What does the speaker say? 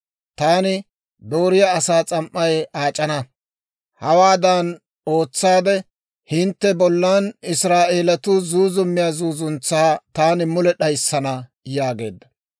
Taani dooriyaa asaa s'am"ay aac'ana; hawaadan ootsaade hintte bollan Israa'eelatuu zuuzummiyaa zuuzuntsaa taani mule d'ayissana» yaageedda.